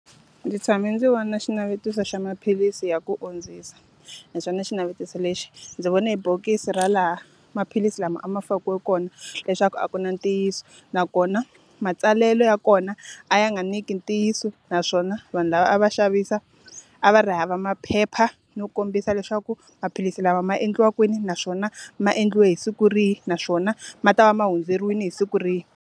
Ndzi tshame ndzi vona xinavetiso xa maphilisi ya ku ondzisa, na swona xinavetiso lexi, ndzi vone hi bokisi ra laha maphilisi lama a ma fakiwe kona leswaku a ku na ntiyiso. Nakona matsalelo ya kona, a ya nga nyiki ntiyiso. Naswona vanhu lava a va xavisa, a va ri hava maphepha yo kombisa leswaku maphilisi lawa ma endla kwini naswona ma endliwe hi siku ri hi, naswona ma ta va ma hundzeriwile hi siku rihi.